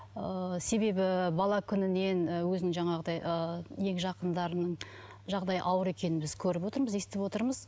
ыыы себебі бала күнінен і өзінің жаңағыдай ы ең жақындарының жағдайы ауыр екенін біз көріп отырмыз естіп отырмыз